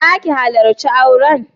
Za ki halarci auren?